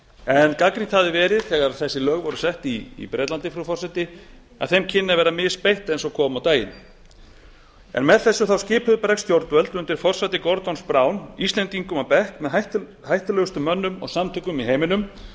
en gagnrýnt hafði verið þegar þessi lög voru sett í bretlandi frú forseti að þeim kynni að verða misbeitt eins og kom á daginn með þessu skipuðu bresk stjórnvöld undir forsæti gordons brown íslendingum á bekk með hættulegustu mönnum og samtökum í heiminum